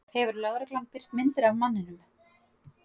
Hefur lögreglan birt myndir af manninum